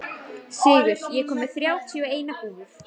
Sigur, ég kom með þrjátíu og eina húfur!